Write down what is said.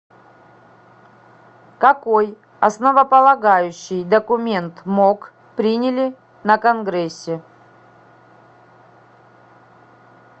какой основополагающий документ мок приняли на конгрессе